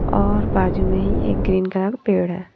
और बाजू में ही एक ग्रीन कलर पेड़ है।